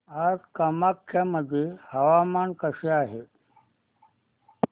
आज कामाख्या मध्ये हवामान कसे आहे